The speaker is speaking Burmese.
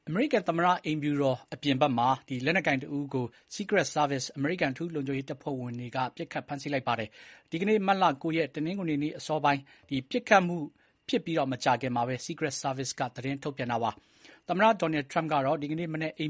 အမေရိကန်သမ္မတ အိမ်ဖြူတော်အပြင်ဘက်မှာ လက်နက်ကိုင်တဦးကို Secret Service အမေရိကန် အထူးလုံခြုံရေးတပ်ဖွဲ့ဝင်တွေက ပစ်ခတ်ခဲ့ပါတယ်။ ဒီကနေ့ မတ်လ ၉ ရက်၊ တနင်္ဂနွေနေ့ ပစ်ခတ်မှုဖြစ်ပြီး မကြာခင်မှာပဲ Secret Service က သတင်းထုတ်ပြန်တာပါ။ သမ္မတ Donald Trump ကတော့ ဒီကနေ့ မနက် အိမ်